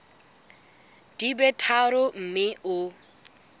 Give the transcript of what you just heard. di be tharo mme o